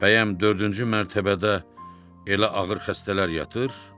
Bəyəm dördüncü mərtəbədə elə ağır xəstələr yatır?